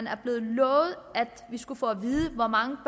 er blevet lovet at vi skulle få at vide hvor mange